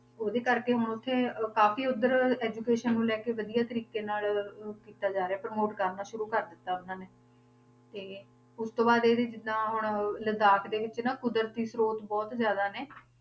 ਉਹਦੇ ਕਰਕੇ ਹੁਣ ਉੱਥੇ ਕਾਫ਼ੀ ਉੱਧਰ education ਨੂੰ ਲੈ ਕੇ ਵਧੀਆ ਤਰੀਕੇ ਨਾਲ ਉਹ ਕੀਤਾ ਜਾ ਰਿਹਾ promote ਕਰਨਾ ਸ਼ੁਰੂ ਕਰ ਦਿੱਤਾ ਉਹਨਾਂ ਨੇ, ਤੇ ਉਸ ਤੋਂ ਬਾਅਦ ਇਹ ਜਿੱਦਾਂ ਹੁਣ ਲਦਾਖ ਦੇ ਵਿੱਚ ਨਾ ਕੁਦਰਤੀ ਸ੍ਰੋਤ ਬਹੁਤ ਜ਼ਿਆਦਾ ਨੇ